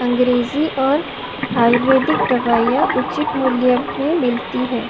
अंग्रेजी और आयुर्वेदिक दवाइयां उचित मूल्य में मिलती है।